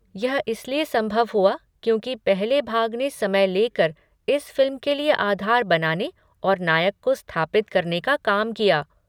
यह इसलिए संभव हुआ क्योंकि पहले भाग ने समय लेकर इस फ़िल्म के लिए आधार बनाने और नायक को स्थापित करने का काम किया।